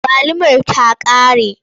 Agwalumar ta ƙare.